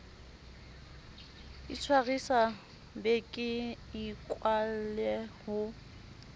itshwarisa be ke ikwalle ho